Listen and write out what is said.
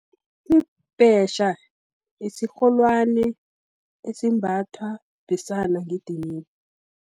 Ibhetjha, yisirholwani, esimbathwa besana ngedidini.